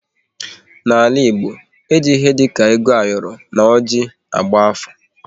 N'ala Igbo, e ji ihe dị ka ego ayoro na oji agba afa